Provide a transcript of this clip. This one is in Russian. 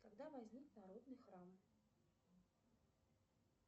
когда возник народный храм